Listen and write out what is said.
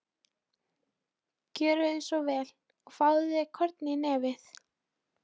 Gjörðu svo vel og fáðu þér korn í nefið.